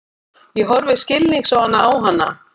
Ég horfi skilningsvana á hana.